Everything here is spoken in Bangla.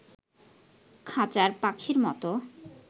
খাঁচার পাখির মতো